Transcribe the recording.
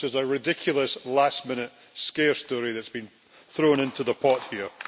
This is a ridiculous last minute scare story that has been thrown into the pot here.